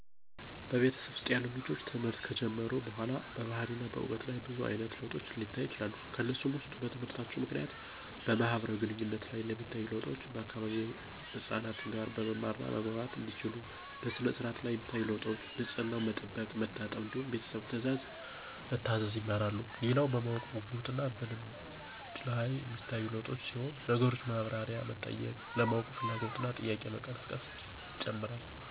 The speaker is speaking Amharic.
በቤተሰብ ውስጥ ያሉ ልጆች ትምህርት ከጀመሩ በኋላ በባህሪና በዕውቀት ላይ ብዙ አይነት ለውጦች ሊታዩ ይችላሉ። ከነሱም ውስጥ በትምህርታቸው ምክንያት በማህበራዊ ግንኙነት ላይ የሚታዩ ለውጦች፤ ከአካባቢው ህፃናት ጋር መማማር እና መግባባት እንዲችሉ፣ በሥነ-ስርዓት ላይ የሚታዩ ለውጦች፤ ንፅህናን መጠበቅ፣ መታጠብ እንዲሁም ቤተሰብ ትእዛዝ መታዘዝ ይማራሉ። ሌላው በማወቅ ጉጉት እና በልምድ ላይ ሚታዩ ለውጦች ሲሆኑ ነገሮችን ማብራሪያ መጠየቅ፣ ለማወቅ ፍላጎት እና ጥያቄ መቀስቀስ ይጨመራሉ።